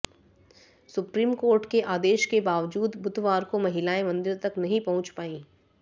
supreme court के आदेश के बावजूद बुधवार को महिलाएं मंदिर तक नहीं पहुंच पाई